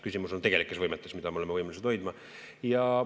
Küsimus on tegelikes võimetes, mida me oleme võimelised hoidma.